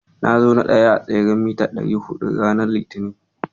Na zo na ɗaya s tseren mita ɗari huɗu ranar Litinin.